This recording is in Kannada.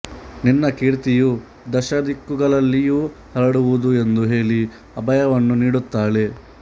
ನಿನ್ನ ಕೀರ್ತಿಯೂ ದಶದಿಕ್ಕುಗಳಲ್ಲಿಯೂ ಹರಡುವುದು ಎಂದು ಹೇಳಿ ಅಭಯವನ್ನು ನೀಡುತ್ತಾಳೆ